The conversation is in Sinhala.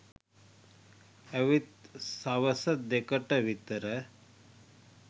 ඇවිත් සවස දෙකට විතර